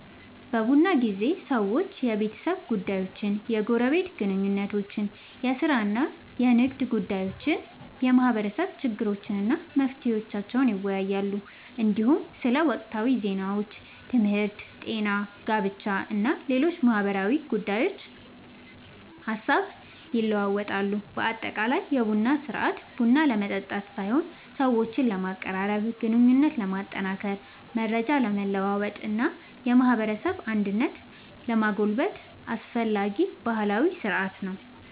በቡና ጊዜ ሰዎች የቤተሰብ ጉዳዮችን፣ የጎረቤት ግንኙነቶችን፣ የሥራ እና የንግድ ጉዳዮችን፣ የማህበረሰብ ችግሮችን እና መፍትሄዎቻቸውን ይወያያሉ። እንዲሁም ስለ ወቅታዊ ዜናዎች፣ ትምህርት፣ ጤና፣ ጋብቻ እና ሌሎች ማህበራዊ ጉዳዮች ሐሳብ ይለዋወጣሉ። በአጠቃላይ የቡና ሥርዓት ቡና ለመጠጣት ሳይሆን ሰዎችን ለማቀራረብ፣ ግንኙነትን ለማጠናከር፣ መረጃ ለመለዋወጥ እና የማህበረሰብ አንድነትን ለማጎልበት አስፈላጊ ባህላዊ ሥርዓት ነው።